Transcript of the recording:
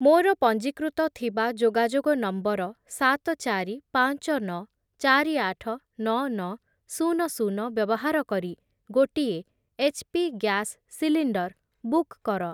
ମୋର ପଞ୍ଜୀକୃତ ଥିବା ଯୋଗାଯୋଗ ନମ୍ବର ସାତ, ଚାରି, ପାଞ୍ଚ, ନଅ, ଚାରି, ଆଠ, ନଅ, ନଅ, ଶୂନ, ଶୂନ ବ୍ୟବାହାର କରି ଗୋଟିଏ ଏଚ୍‌ପି ଗ୍ୟାସ୍‌ ସିଲଣ୍ଡର୍ ବୁକ୍ କର।